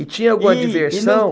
E e tinha alguma diversão?